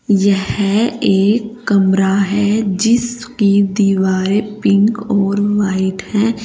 यह एक कमरा है जिसकी दीवारें पिंक और वाइट हैं।